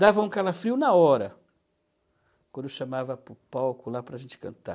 Dava um calafrio na hora, quando chamava para o palco lá para a gente cantar.